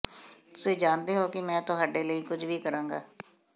ਤੁਸੀਂ ਜਾਣਦੇ ਹੋ ਕਿ ਮੈਂ ਤੁਹਾਡੇ ਲਈ ਕੁਝ ਵੀ ਕਰਾਂਗਾ